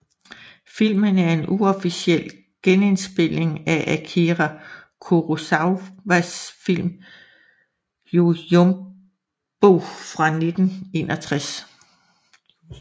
Filmen er en uofficiel genindspilning af Akira Kurosawas film Yojimbo fra 1961